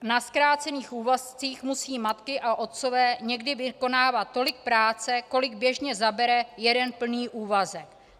Na zkrácených úvazcích musí matky a otcové někdy vykonávat tolik práce, kolik běžně zabere jeden plný úvazek.